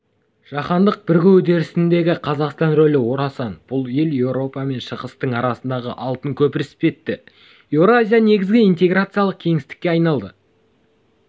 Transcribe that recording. жаһандық бірігу үдерісіндегі қазақстан рөлі орасан бұл ел еуропа мен шығыстың арасындағы алтын көпір іспетті еуразия негізгі интеграциялық кеңістікке айналады